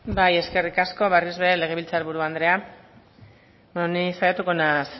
bai eskerrik asko berriz bere legebiltzar buru andrea beno ni saiatuko naiz